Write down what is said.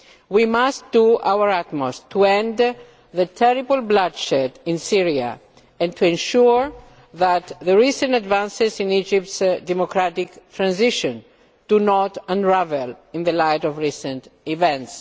We must do our utmost to end the terrible bloodshed in Syria and to ensure that the recent advances in Egypt's democratic transition do not unravel in the light of recent events.